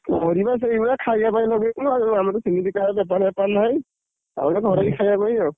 ପରିବା ସେଇଭଳିଆ ଖାଇବା ପାଇଁ ଲଗେଇଥିଲୁ ଆଉ ଆମର ତ ସେମିତିକା ବେପାର ଫେପାର ନାହିଁ, ଆଉ ଏଇ ଘରଇ ଖାଇବା ପାଇଁ ଆଉ।